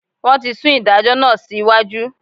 Wọ́n ti sún ìdájọ́ náà sí iwájú.